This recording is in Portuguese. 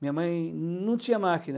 Minha mãe não tinha máquina.